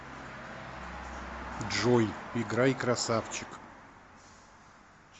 джой играй крассавчик